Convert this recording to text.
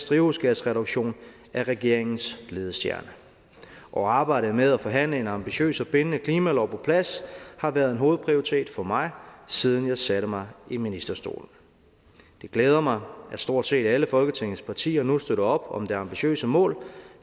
drivhusgasreduktion er regeringens ledestjerne og arbejdet med at forhandle en ambitiøs og bindende klimalov på plads har været en hovedprioritet for mig siden jeg satte mig i ministerstolen det glæder mig at stort set alle folketingets partier nu støtter op om det ambitiøse mål